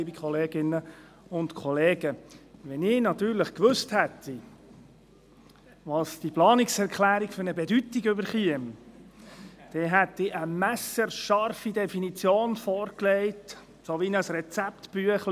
Wenn ich natürlich gewusst hätte, welche Bedeutung diese Planungserklärung bekommt, dann hätte ich eine messerscharfe Definition vorgelegt, etwa wie ein Rezeptbuch.